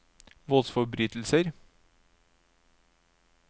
voldsforbrytelser